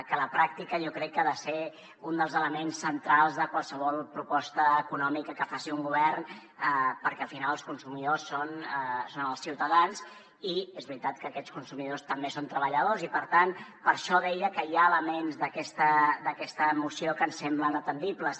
que a la pràctica jo crec que ha de ser un dels elements centrals de qualsevol proposta econòmica que faci un govern perquè al final els consumidors són els ciutadans i és veritat que aquests consumidors també són treballadors i per tant per això deia que hi ha elements d’aquesta moció que ens semblen atendibles